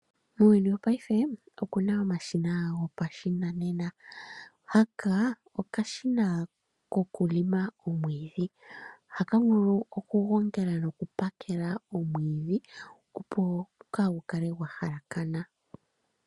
Muuyuni wo payife omu na omashina go pashinanena ga yoolokathana, tu na uushina wumwe woku teta omwiidhi nokashina haka ohaka vulu okuteta omwiidhi nosho woo oku gu gongela opo gwaa kale gwa halakana.